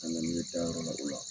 Ka na ni ye taa yɔrɔ la o la